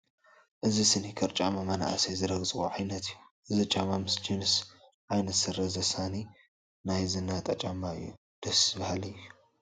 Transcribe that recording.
እዚ ስኒከር ጫማ መናእሰይ ዝረግፅዎ ዓይነት እዩ፡፡ እዚ ጫማ ምስ ጅንስ ዓይነት ስረ ዘሳኒ ናይ ዝነጣ ጫማ እዩ፡፡ ደስ በሃሊ እዩ፡፡